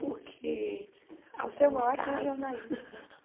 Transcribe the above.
O que alguns casos Você é uma ótima jornalista.